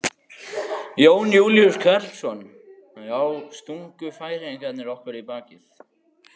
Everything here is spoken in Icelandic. Jón Júlíus Karlsson: Já, stungu Færeyingar okkur í bakið?